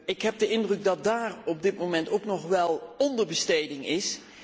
Ik heb de indruk dat daar op dit moment ook nog wel onderbesteding is.